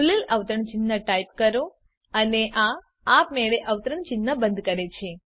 ખૂલેલ અવતરણ ચિહ્ન ટાઈપ કરો અને આ આપમેળે અવતરણ ચિહ્ન બંધ કરે છે